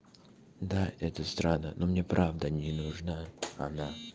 да это странно но мне правда не нужна она